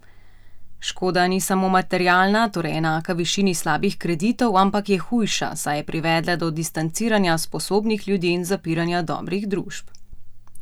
Škoda ni samo materialna, torej enaka višini slabih kreditov, ampak je hujša, saj je privedla do distanciranja sposobnih ljudi in zapiranja dobrih družb.